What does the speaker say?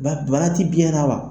Bonya bonya tɛ diɲɛ na wa?